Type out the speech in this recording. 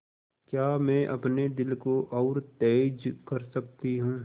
क्या मैं अपने दिल को और तेज़ कर सकती हूँ